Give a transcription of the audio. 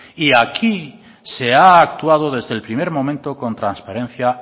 y aquí se ha actuado desde el primer momento con transparencia